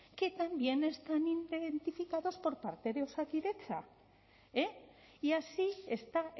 que también están identificadas por parte de osakidetza y así está